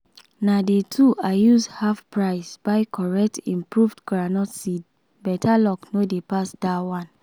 na day two i use half price buy correct improved groundnut seed better luck no dey pass that one